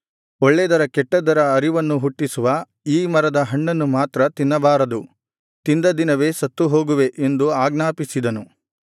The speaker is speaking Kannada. ಒಳ್ಳೇದರ ಕೆಟ್ಟದ್ದರ ಅರಿವನ್ನು ಹುಟ್ಟಿಸುವ ಈ ಮರದ ಹಣ್ಣನ್ನು ಮಾತ್ರ ತಿನ್ನಬಾರದು ತಿಂದ ದಿನವೇ ಸತ್ತು ಹೋಗುವೆ ಎಂದು ಆಜ್ಞಾಪಿಸಿದನು